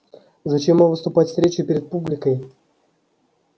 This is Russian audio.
зачем вам выступать с речью перед публикой